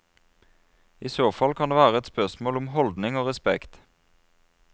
I så fall kan det være spørsmål om holdning og respekt.